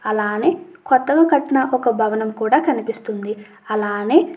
అలానే కొత్తగా కట్టిన ఒక భవనం కూడా కనిపిస్తుంది. అలానే --